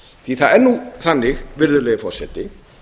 því það er nú þannig virðulegi forseti